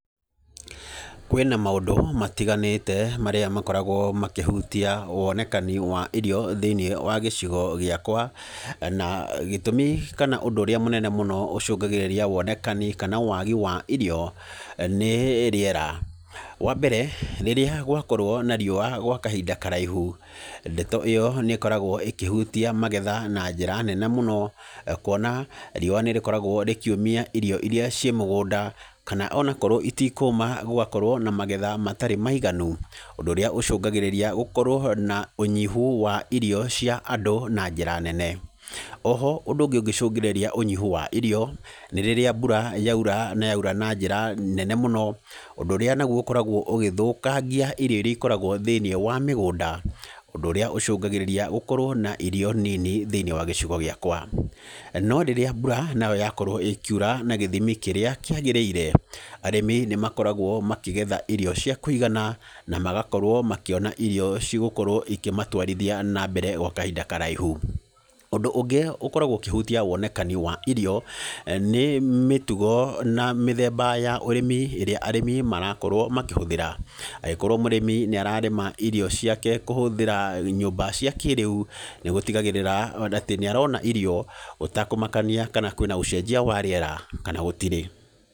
Kwĩna maũndũ matiganĩte marĩa makoragwa makĩhutia wonekani wa irio thĩinĩ wa gĩcigo gĩakwa, na gĩtũmi kana ũndũ ũrĩa mũnene mũno ũcungagĩrĩria wonekani kana waagi wa irio nĩ rĩera, wambere rĩrĩa gwakorwo na riũa gwa kahinda karaihu ndeto ĩyo nĩkoragwo ĩkĩhutia magetha na njĩra nene mũno kũona riũa nĩrĩkoragwa rĩkiumia irio irĩa ciĩmũgũnda kana akorwo itikũma gũgakorwo na magetha matarĩ maiganu ũndũ ũrĩa ũcungagĩrĩria gũkorwo na ũnyihu wa irio cia andũ na njĩra nene oho ũndũ ũngĩ ũngĩcungĩrĩria ũnyihu wa irio, nĩ rĩrĩa mbura na yaura na njíĩa nene mũno ũndũ ũrĩa ũkoragwo ũgĩthũkangia irio irĩa ikoragwa thĩinĩ wa mĩgũnda, ũndũ ũrĩa ũcungagĩrĩria gũkorwo na irio nini thĩinĩ wa gĩcigo gĩakwa, no rĩrĩa mbura yakorwo ĩkiũra na gĩthimi kĩrĩa gĩagĩrĩire arĩmi nĩmakoragwo makĩgetha irio ciakũigana na magakorwo makĩona irio cigũkorwo cikĩmatwarithia na mbere gwa kahinda karaihu, ũndũ ũngĩ ũkoragwa ũkĩhutia wonekani wa irio nĩ mĩtugo na mĩthemba ya ũrĩmi rĩrĩa arĩmi marakorwo makĩhũthĩra agĩkorwo mũrĩmi niararĩma irio ciake kũhũthĩra nyũmba ciakĩrĩu na gũtigagĩrĩra atĩ nĩarona irio ũtakũmakania kana kũna ũcejia wa rĩera kana gũtirĩ.